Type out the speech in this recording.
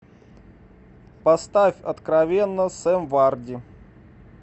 поставь откровенно сэм варди